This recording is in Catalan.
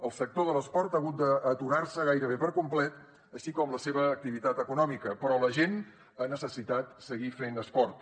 el sector de l’esport ha hagut d’aturar se gairebé per complet així com la seva activitat econòmica però la gent ha necessitat seguir fent esport